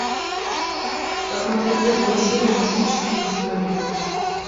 посмотреть первую серию мистические истории